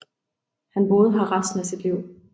Han boede her resten af sit liv